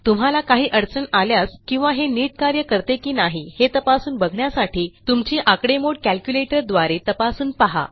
तुम्हाला काही अडचण आल्यास किंवा हे नीट कार्य करते की नाही हे तपासून बघण्यासाठी तुमची आकडेमोड कॅल्क्युलेटर द्वारे तपासून पहा